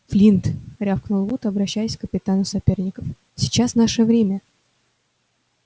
флинт рявкнул вуд обращаясь к капитану соперников сейчас наше время